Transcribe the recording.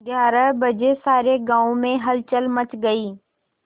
ग्यारह बजे सारे गाँव में हलचल मच गई